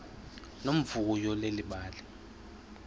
nomvuyo leli bali